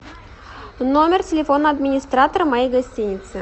номер телефона администратора моей гостиницы